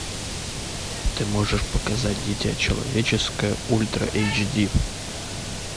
ты можешь показать дитя человеческое ультра эйч ди